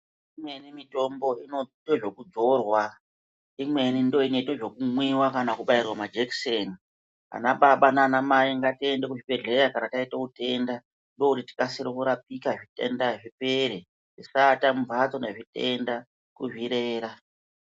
Imweni mitombo inoita zvekudzorwa, imweni ndoinoita zvekubairwa mujekiseni. Ana Baba naana Mai ngatiende kuzvibhedhlera kana taita utenda ndokuti tikase kurapika zvitenda zvipere tisaata mumhatso nezvitenda kuzvirera.